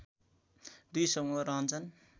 दुई समूह रहन्छन्